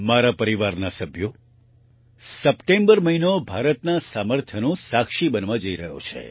મારા પરિવારના સભ્યો સપ્ટેમ્બર મહિનો ભારતના સામર્થ્યનો સાક્ષી બનવા જઈ રહ્યો છે